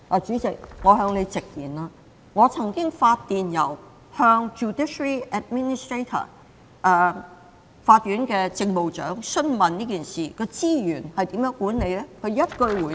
主席，容我向你直言，我曾就這事發電郵向司法機構政務長詢問，究竟資源是如何管理的？